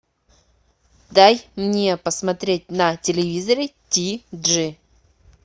дай мне посмотреть на телевизоре ти джи